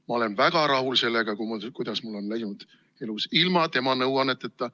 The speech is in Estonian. Ma olen väga rahul sellega, kuidas mul on elus läinud ilma tema nõuanneteta.